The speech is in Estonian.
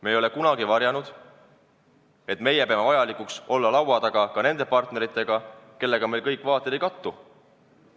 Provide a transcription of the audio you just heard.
Me ei ole kunagi varjanud, et meie peame vajalikuks olla laua taga ka nende partneritega, kellega kõik meie vaated ei kattu.